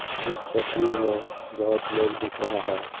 इस तस्वीर में बहुत लोग दिख रहा है।